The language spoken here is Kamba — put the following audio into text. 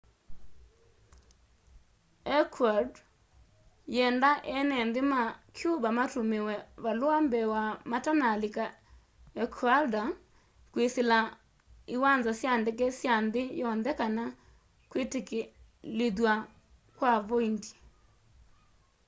ecuador yienda eene nthi ma cuba matumiwe valua mbee wa matanalika ecuador kwisila iwanza sya ndeke sya nthi yonthe kana kwitikilithwa kwa voindi